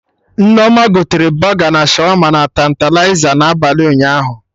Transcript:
Nneoma gotere Bọga na Shawama na Tantaliza na abalị ụnyaahụ